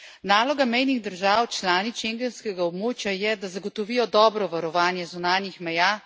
Naloga mejnih držav članic schengenskega območja je, da zagotovijo dobro varovanje zunanjih meja.